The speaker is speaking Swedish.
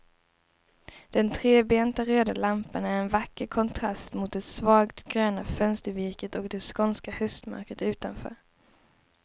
Den trebenta röda lampan är en vacker kontrast mot det svagt gröna fönstervirket och det skånska höstmörkret utanför.